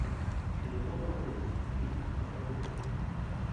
пенелопа круз фильм посоветуй мне